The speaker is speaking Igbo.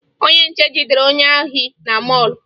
Onye nche jidere onye ohi na mọọlụ